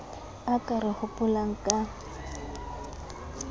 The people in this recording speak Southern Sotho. a ka re hopolang ka